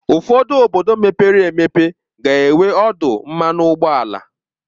ụfọdụ obodo mepere emepe ga-enwe ọdụ mmanụ ụgbọala.